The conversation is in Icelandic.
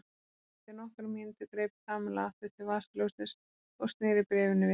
Eftir nokkra mínútur greip Kamilla aftur til vasaljóssins og snéri bréfinu við.